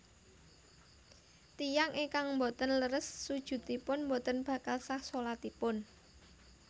Tiyang ingkang boten leres sujudipun boten bakal sah shalatipun